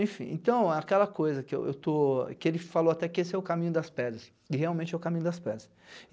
Enfim, então é aquela coisa que eu estou, que ele falou até que esse é o caminho das pedras, e realmente é o caminho das pedras.